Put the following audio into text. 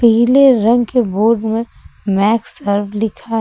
पीले रंग के बोर्ड में मैक सर्व लिखा है।